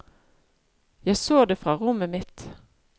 Jeg så det fra rommet mitt.